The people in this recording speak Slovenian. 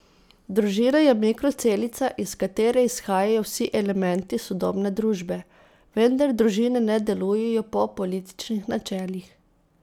Družina je mikrocelica, iz katere izhajajo vsi elementi sodobne družbe, vendar družine ne delujejo po političnih načelih.